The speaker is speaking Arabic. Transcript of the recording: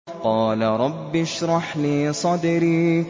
قَالَ رَبِّ اشْرَحْ لِي صَدْرِي